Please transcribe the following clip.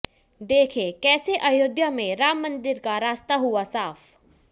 देखें कैसे अयोध्या में राम मंदिर का रास्ता हुआ साफ